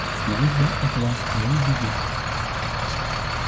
служба от вас не убежит